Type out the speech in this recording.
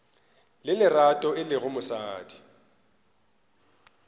le lerato e lego mosadi